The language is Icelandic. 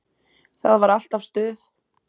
Það var alltaf stuð.